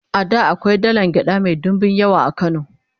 a da akwai dalan gyaɗa Mai ɗinbin yawa a kano